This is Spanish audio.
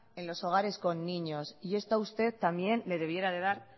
en los hogares con niños y esto a usted también le debiera de dar